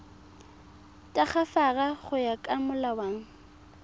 tagafara go ya ka molawana